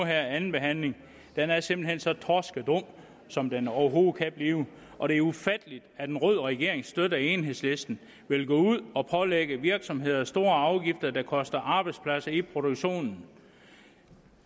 andenbehandler her er simpelt hen så torskedumt som det overhovedet kan blive og det er ufatteligt at en rød regering støtter enhedslisten vil gå ud og pålægge virksomheder store afgifter der koster arbejdspladser i produktionen